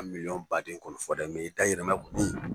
Miliyɔn baden kɔni fɔ dɛ, i da yirimɛ kɔni